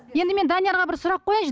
енді мен даниярға бір сұрақ қояйыншы